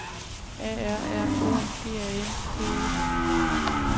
A R R O G A N C E